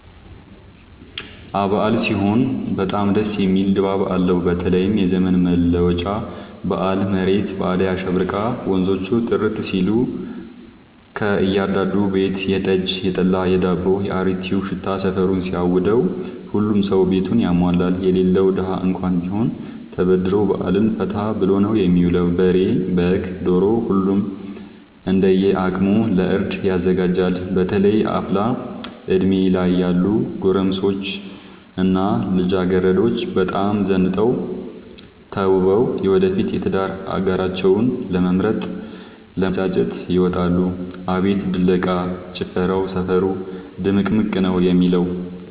አበዓል ሲሆን በጣም ደስ የሚል ድባብ አለው በተለይም የዘመን መለወጫ በአል መሬት በአዳይ አሸብርቃ ወንዞቹ ጥርት ሲሉ ከእያዳዱ ቤት የጠጅ፣ የጠላ የዳቦው።፣ የአሪቲው ሽታ ሰፈሩን ሲያውደው። ሁሉም ሰው ቤቱን ያሟላል የሌለው ደሀ እንኳን ቢሆን ተበድሮ በአልን ፈታ ብሎ ነው የሚውለው። በሬ፣ በግ፣ ዶሮ ሁሉም እንደየ አቅሙ ለእርድ ያዘጋጃል። በተለይ አፍላ እድሜ ላይ ያሉ ጎረምሶች እና ልጃገረዶች በጣም ዘንጠው ተውበው የወደፊት የትዳር አጋራቸውን ለመምረጥ ለመተጫጨት ይወጣሉ። አቤት ድለቃ፣ ጭፈራው ሰፈሩ ድምቅምቅ ነው የሚለው።